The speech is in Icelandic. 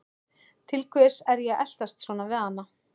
Til hvers er ég að eltast svona við hana?